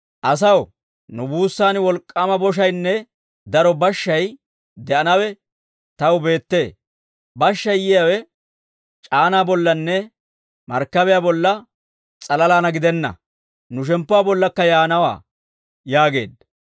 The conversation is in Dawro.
«Asaw, nu buussan wolk'k'aama boshaynne daro bashshay de'anawe taw beettee; bashshay yiyaawe c'aanaa bollanne markkabiyaa bolla s'alalaan gidenna; nu shemppuwaa bollaakka yaanawaa» yaageedda.